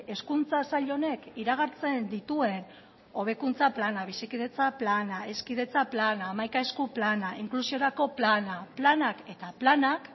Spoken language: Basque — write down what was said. hezkuntza sail honek iragartzen dituen hobekuntza plana bizikidetza plana hezkidetza plana hamaika esku plana inklusiorako plana planak eta planak